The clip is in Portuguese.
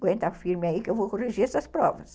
Aguenta firme aí que eu vou corrigir essas provas.